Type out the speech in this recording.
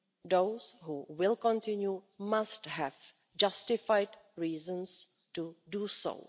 Those who continue must have justified reasons for doing